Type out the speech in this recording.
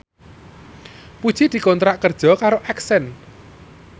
Puji dikontrak kerja karo Accent